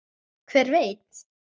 Hver veit.